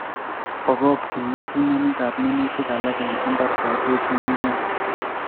bagokchin ngetunanikab minutik alak en mbar kotuch ng'ung'unyek